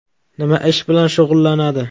Nima ish bilan shug‘ullanadi?